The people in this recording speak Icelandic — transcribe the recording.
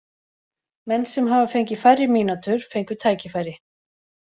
Menn sem hafa fengið færri mínútur fengu tækifæri.